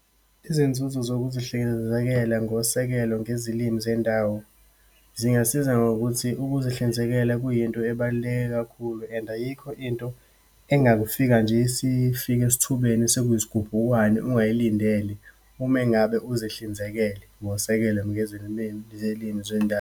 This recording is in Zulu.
Izinzuzo zokuzihlinzekela ngosekelo ngezilimi zendawo, zingasiza ngokuthi ukuzihlinzekela kuyinto ebaluleke kakhulu and ayikho into engakufika nje, isifika esithubeni, sekuyisigubhukwane, ungayilindele ume ngabe uzihlinzekele ngosekelo zilimi zendawo.